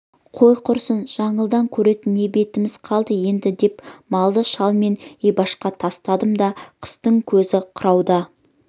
қой құрсын жаңылды көретін не бетіміз қалды енді деп малды шал мен ибашқа тастадым да қыстың көзі қырауда